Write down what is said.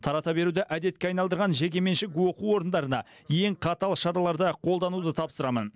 тарата беруді әдетке айналдырған жекеменшік оқу орындарына ең қатал шараларды қолдануды тапсырамын